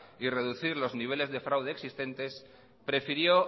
y reducir los niveles de fraudes existentes prefirió